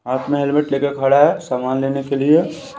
अपना हेलमेट लेकर खड़ा है सामान लेने के लिए---